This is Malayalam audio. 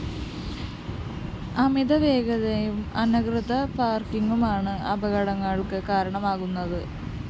അമിതവേഗതയും അനധികൃത പാര്‍ക്കിംങുമാണ് അപകടള്‍ക്ക് കാരണമാകുന്നത്